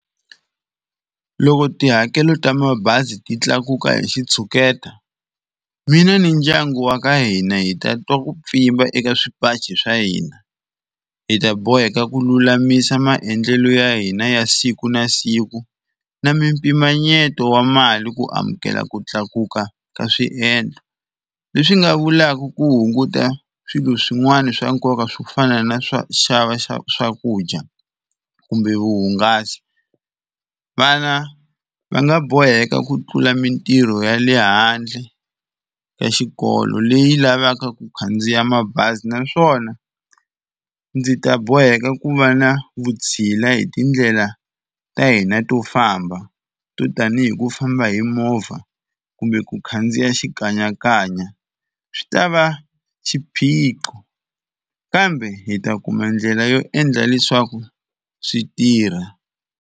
Loko tihakelo ta mabazi ti tlakuka hi xitshuketa mina ni ndyangu wa ka hina hi ta twa ku pfimba eka swipachi swa hina hi ta boheka ku lulamisa maendlelo ya hina ya siku na siku na mimpimanyeto wa mali ku amukela ku tlakuka ka swiendlo leswi nga vulaka ku hunguta swilo swin'wana swa nkoka swo fana na swa xava xa swakudya kumbe vuhungasi. Vana va nga boheka ku tlula mintirho ya le handle ka xikolo leyi lavaka ku khandziya mabazi. Naswona ndzi ta boheka ku va na vutshila hi tindlela ta hina to famba to tanihi ku famba hi movha kumbe ku khandziya xikanyakanya swi ta va xiphiqo kambe hi ta kuma ndlela yo endla leswaku swi tirha.